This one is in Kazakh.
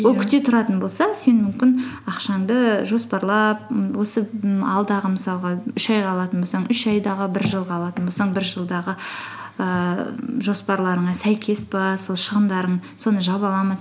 күте тұратын болса сен мүмкін ақшаңды жоспарлап м осы м алдығы мысалғы үш айға алатын болсаң үш айдағы бір жылға алатын болсаң бір жылдағы ііі жоспарларыңа сәйкес пе сол шығындарың соны жаба ала ма